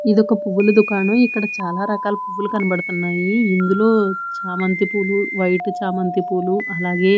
ఇదొక పువ్వుల దుకాణం ఇక్కడ చాలారకాల పువ్వులు కనబడతన్నాయి ఇందులో చామంతి పూలు వైటు చామంతి పూలు అలాగే--